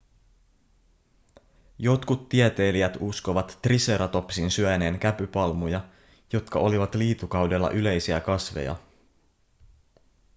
jotkut tieteilijät uskovat triceratopsin syöneen käpypalmuja jotka olivat liitukaudella yleisiä kasveja